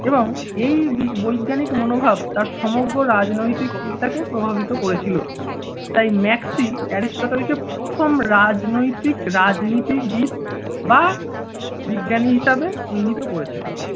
এবং এই বি~ বৈজ্ঞানিক মনোভাব তার সমগ্র রাজনৈতিক চিন্তা কে প্রভাবিত করেছিল। তাই ম্যাক্সি অ্যারিস্টোটল কে প্রথম রাজনৈতিক রাজনীতিবিদ বা বিজ্ঞানী হিসেবে চিহ্নিত করেছেন।